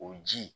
O ji